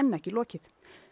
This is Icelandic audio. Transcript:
ekki lokið